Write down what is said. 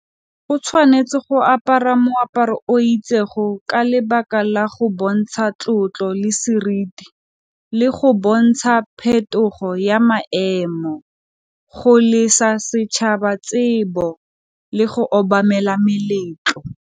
O tshwanetse go apara moaparo o ka lebaka la go bontsha tlotlo le seriti, le go bontsha phetogo ya maemo go lesa setšhaba tsebo le go obamela meletlo.